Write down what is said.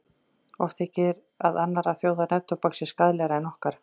Ólíklegt þykir að annarra þjóða neftóbak sé skaðlegra en okkar.